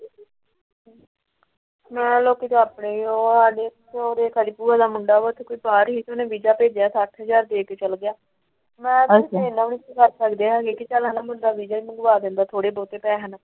ਨਾਲ ਓਥੇ ਘਰ ਏ ਉਹ ਆ ਗਏ ਸਾਡੀ ਭੂਆ ਦਾ ਮੁੰਡਾ ਉਹ ਬਾਹਰ ਈ ਏ ਓਹਨੇ ਵੀਜ਼ਾ ਭੇਜਿਆ ਸੱਠ ਹਜ਼ਾਰ ਰੁਪਇਆ ਚ ਵੀਜ਼ਾ ਲੱਗਿਆ।